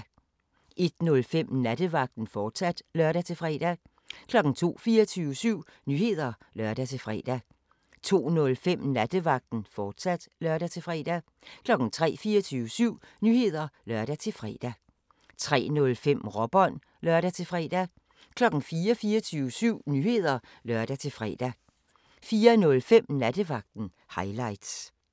01:05: Nattevagten, fortsat (lør-fre) 02:00: 24syv Nyheder (lør-fre) 02:05: Nattevagten, fortsat (lør-fre) 03:00: 24syv Nyheder (lør-fre) 03:05: Råbånd (lør-fre) 04:00: 24syv Nyheder (lør-fre) 04:05: Nattevagten – highlights